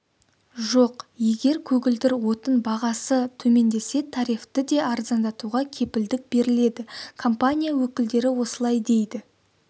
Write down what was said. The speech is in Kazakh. жоқ егер көгілдір отын бағасы төмендесе тарифті де арзандатуға кепілдік беріледі компания өкілдері осылай дейді